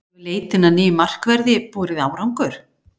Hefur leitin að nýjum markverði borið árangur?